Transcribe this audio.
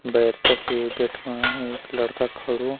भैर तख एक बिठवाण एक लड़का खडूं।